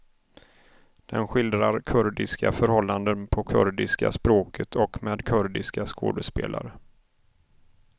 Den skildrar kurdiska förhållanden på kurdiska språket och med kurdiska skådespelare.